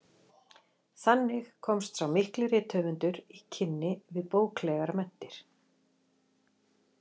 Þannig komst sá mikli rithöfundur í kynni við bóklegar menntir.